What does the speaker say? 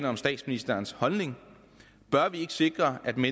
om statsministerens holdning bør vi ikke sikre at den